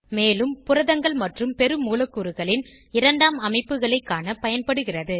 மேலும் புரதங்கள் மற்றும் பெருமூலக்கூறுகளின் இரண்டாம் அமைப்புகளைக் காண பயன்படுகிறது